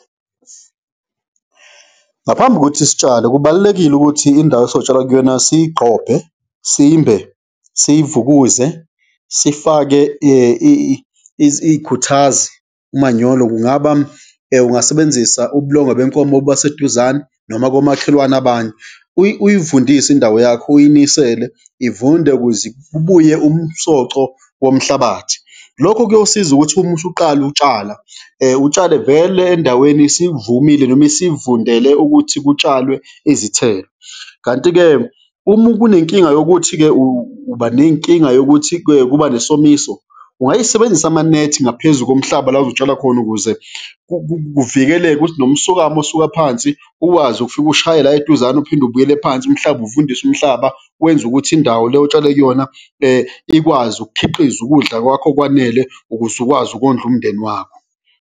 Ngaphambi kokuthi sitshale kubalulekile ukuthi indawo esizotshala kuyona siyigqobhe, simbe, siyivukuze, sifake iy'khuthazi, umanyolo kungaba ungasebenzisa ubulongwe benkomo baseduzane noma komakhelwane abanye, uyivundise indawo yakho, uyinisele ivunde ukuze kubuye umsoco womhlabathi, lokho kuyosiza ukuthi uma usuqala utshala, utshale vele endaweni esivumile noma esivundele ukuthi kutshalwe izithelo. Kanti-ke umu kunenkinga yokuthi-ke uba nenkinga yokuthi kuba nesomiso, ungayisebenzisa amanethi ngaphezu komhlaba la ozotshala khona ukuze kuvikeleke, kuthi nomsukama osuka phansi ukwazi ukufika ushaye la eduzane uphinde ubuyele phansi umhlaba uvundise umhlaba, wenze ukuthi indawo le otshale kuyona ikwazi ukukhiqiza ukudla kwakho okwanele ukuze ukwazi ukondla umndeni wakho.